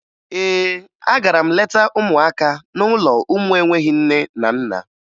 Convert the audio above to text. Ee, agara m leta ụmụaka n'ụlọ ụmụ enweghi nne na nna